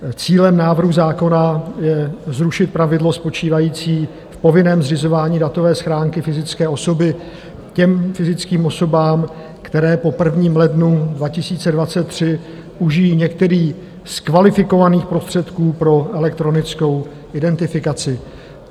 Cílem návrhu zákona je zrušit pravidlo spočívající v povinném zřizování datové schránky fyzické osoby těm fyzickým osobám, které po 1. lednu 2023 užijí některý z kvalifikovaných prostředků pro elektronickou identifikaci.